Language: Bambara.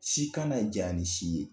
Si kana jan ni si ye.